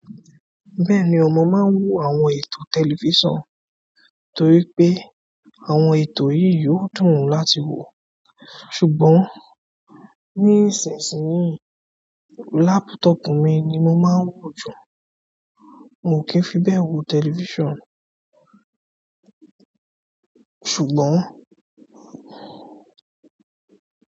Bẹ́ẹ̀ni ọmọ máa ń wo àwọn ètò tẹlifíṣàn torí pé àwọn ètò yìí yóò dùn láti wo. Ṣùgbọ́n ní ìsinsìnyí, laptop mi ni mo máa ń wò jù. N ò kí fi bẹ́ẹ̀ wo tẹlifíṣàn. Ṣùgbọ́n.